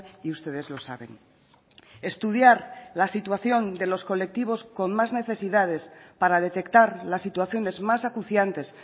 y ustedes lo saben estudiar la situación de los colectivos con más necesidades para detectar las situaciones más acuciantes